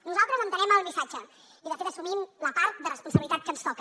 nosaltres entenem el missatge i de fet assumim la part de responsabilitat que ens toca